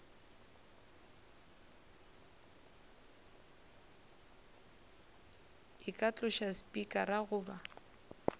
e ka tloša spikara goba